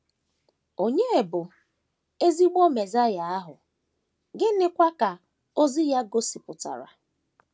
Ònye bụ ezigbo Mesaịa ahụ, gịnịkwa ka ozi ya gosipụtara?